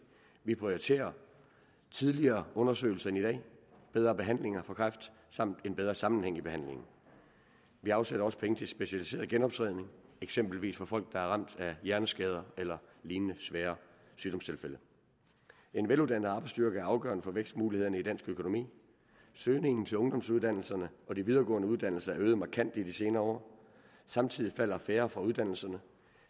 vi prioriterer tidligere undersøgelser end i dag og bedre behandlinger for kræft samt en bedre sammenhæng i behandlingen vi afsætter også penge til specialiseret genoptræning eksempelvis for folk der er ramt af hjerneskader eller lignende svære sygdomstilfælde en veluddannet arbejdsstyrke er afgørende for vækstmulighederne i dansk økonomi søgningen til ungdomsuddannelserne og de videregående uddannelser er øget markant i de senere år samtidig falder færre fra uddannelserne